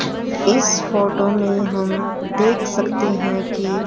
इस फोटो में हम देख सकते है की--